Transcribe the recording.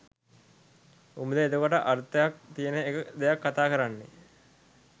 උබද එතකොට අර්ථයක් තියෙන දෙයක් කතා කරන්නේ?